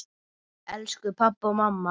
Elsku pabbi og mamma.